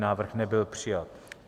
Návrh nebyl přijat.